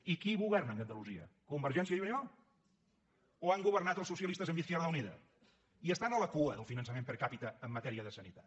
i qui governa a andalusia convergència i unió o han governat els socialistes amb izquierda unida i estan a la cua del finançament per capita en matèria de sanitat